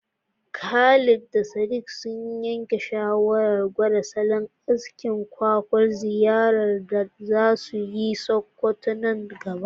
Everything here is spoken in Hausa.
Khalid da Sadiq sun yanke shawarar gwada salon askin ƙwaƙwal ziyarar da za su kai Sokoto nan gaba.